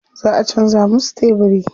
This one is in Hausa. Za a canza musu tebiri.